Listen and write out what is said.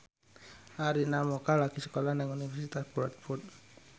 Arina Mocca lagi sekolah nang Universitas Bradford